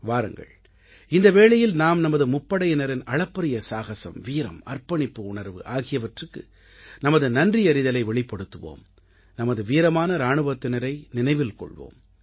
வாருங்கள் இந்த வேளையில் நாம் நமது முப்படையினரின் அளப்பரிய சாகஸம் வீரம் அர்ப்பணிப்பு உணர்வு ஆகிவற்றுக்கு நமது நன்றியறிதலை வெளிப்படுத்துவோம் நமது வீரமான இராணுவத்தினரை நினைவில் கொள்வோம்